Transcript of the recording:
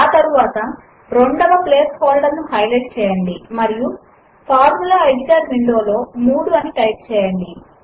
ఆ తరువాత రెండవ ప్లేస్ హోల్దేర్ ను హైలైట్ చేయండి మరియు ఫార్ములా ఎడిటర్ విండో లో 3 అని టైప్ చేయండి